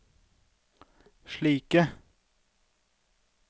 slike